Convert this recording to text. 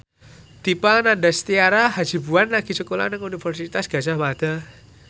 Dipa Nandastyra Hasibuan lagi sekolah nang Universitas Gadjah Mada